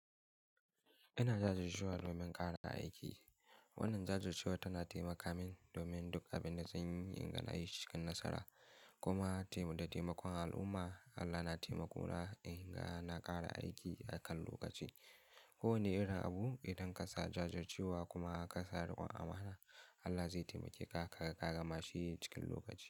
Ina jajircewa domin ƙara aiki. Wannan jajircewa tana taimaka min domin duk abin da zan yi in ga na yi cikin nasara. Kuma da taimakon al'umma, Allah na taimako na in ga na ƙara aiki a kan lokaci. Ko wane irin abu, idan ka sa jajircewa kuma ka sa riƙon amana, Allah zai taimake ka kaga ka gama shi cikin lokaci.